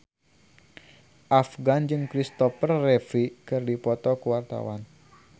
Afgan jeung Kristopher Reeve keur dipoto ku wartawan